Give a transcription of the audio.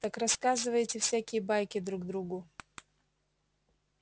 так рассказываете всякие байки друг другу